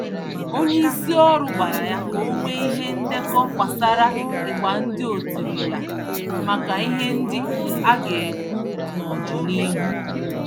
Onyeisi ọrụ gwàrà ya ka onwee ihe ndekọ gbásárá ịgba ndị otirila, màkà ihe ndị agekwu n'ọdịnihu